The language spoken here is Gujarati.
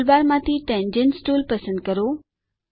ટુલબારમાંથી ટેન્જન્ટ્સ ટુલ પસંદ કરો